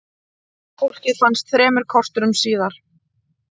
Fólkið fannst þremur korterum síðar.